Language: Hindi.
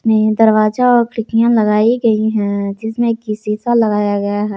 दरवाजा और खिड़कियां लगाई गई हैं जिसमें कि शीशा लगाया गया है।